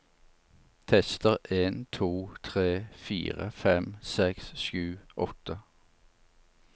Tester en to tre fire fem seks sju åtte